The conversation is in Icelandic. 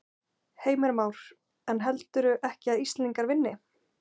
Heimir Már: En heldurðu ekki að Íslendingar vinni?